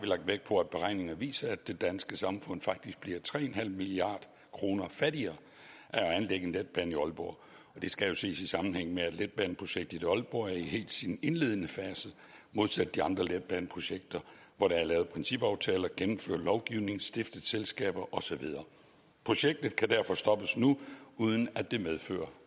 lagt vægt på at beregninger viser at det danske samfund faktisk bliver tre en halv milliard kroner fattigere af at anlægge en letbane i aalborg og det skal jo ses i sammenhæng med at letbaneprojektet i aalborg helt er i sin indledende fase modsat de andre letbaneprojekter hvor der er lavet principaftaler gennemført lovgivning stiftet selskaber og så videre projektet kan derfor stoppes nu uden at det medfører